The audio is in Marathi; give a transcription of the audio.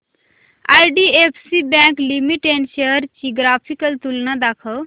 आयडीएफसी बँक लिमिटेड शेअर्स ची ग्राफिकल तुलना दाखव